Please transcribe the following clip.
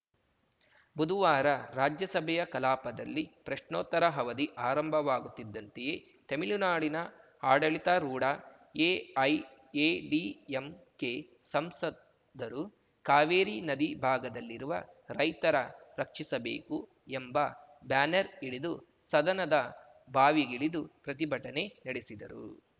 ಬುಧುವಾರ ರಾಜ್ಯಸಭೆಯ ಕಲಾಪದಲ್ಲಿ ಪ್ರಶ್ನೋತ್ತರ ಅವಧಿ ಆರಂಭವಾಗುತ್ತಿದ್ದಂತೆಯೇ ತೆಮಿಳುನಾಡಿನ ಆಡಳಿತಾರೂಢ ಎಐಎಡಿಎಂಕೆ ಸಂಸದರು ಕಾವೇರಿ ನದಿ ಭಾಗದಲ್ಲಿರುವ ರೈತರ ರಕ್ಷಿಸಬೇಕು ಎಂಬ ಬ್ಯಾನರ್‌ ಹಿಡಿದು ಸದನದ ಬಾವಿಗಿಳಿದು ಪ್ರತಿಭಟನೆ ನಡೆಸಿದರು